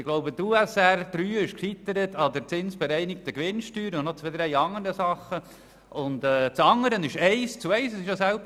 Ich glaube, die USR III ist an der zinsbereinigten Gewinnsteuer und noch zwei bis drei anderen Dingen gescheitert.